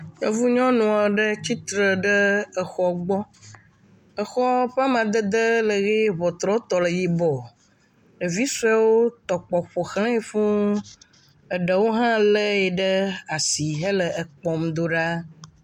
Yevu nyɔnu aɖe tsi tre ɖe exɔ gbɔ. Exɔ ƒe amadede le ʋee, ŋɔtruɔtɔ le yibɔ. Ɖevi suewo tɔ kpɔ ƒoʋlãe fũu. Eɖewo hã le ye ɖe asi hele ekpɔm ɖo ɖaa